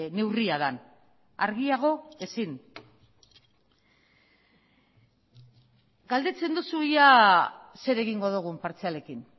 neurria den argiago ezin galdetzen duzu ea zer egingo dugun partzialekin